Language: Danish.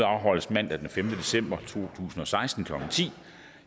som